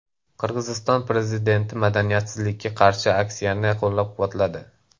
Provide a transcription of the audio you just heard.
Qirg‘iziston prezidenti madaniyatsizlikka qarshi aksiyani qo‘llab-quvvatladi.